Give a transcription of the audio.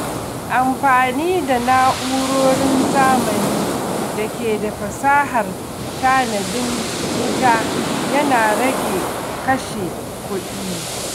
Amfani da na’urorin zamani da ke da fasahar tanadin wuta yana rage kashe kuɗi.